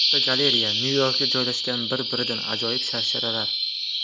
Fotogalereya: Nyu-Yorkda joylashgan bir-biridan ajoyib sharsharalar.